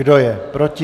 Kdo je proti?